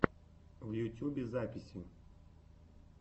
в ютьюбе записи